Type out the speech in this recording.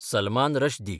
Salman Rushdie